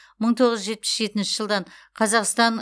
мың тоғыз жүз жетпіс жетінші жылдан қазақстан